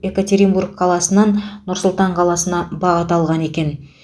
экатеринбург қаласынан нұр сұлтан қаласына бағыт алған екен